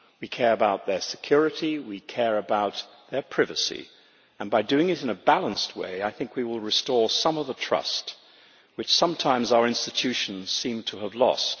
We care about their security, we care about their privacy and, by doing it in a balanced way, I think we will restore some of the trust, which sometimes our institutions seem to have lost.